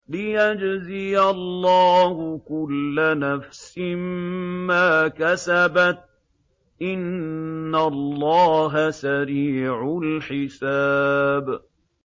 لِيَجْزِيَ اللَّهُ كُلَّ نَفْسٍ مَّا كَسَبَتْ ۚ إِنَّ اللَّهَ سَرِيعُ الْحِسَابِ